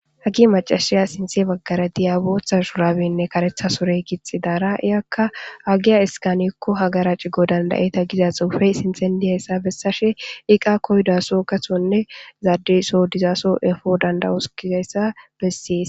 hagi macashiya sinthe baggara diyabootha shurabenne karetha sorey gixi daara iyakka agiya iskanekko hagara cigo dandayeta giza xuufey sinthendiyayssa bessashe iqa koydaso kasonne zaadiso dizaaso efo dandawos gizayssa bessees